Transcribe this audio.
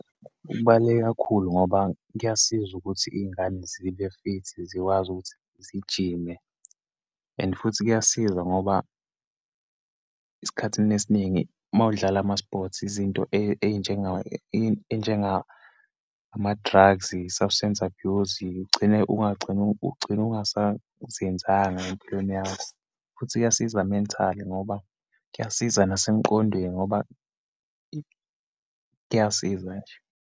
Kubaluleke kakhulu, ngoba kuyasiza ukuthi iyingane zibe-fit, zikwazi ukuthi zigijime and futhi kuyasiza ngoba esikhathini esiningi uma udlala ama-sports, izinto eyinjengama-drugs, i-substance abuse, ugcine, ungagcina, ugcina ungasaziyenzanga empilweni yakho futhi kuyasiza mentally ngoba kuyasiza nasemqondweni ngoba, kuyasiza nje.